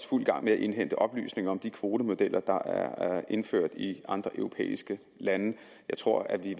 fuld gang med at indhente oplysninger om de kvotemodeller der er indført i andre europæiske lande jeg tror at vi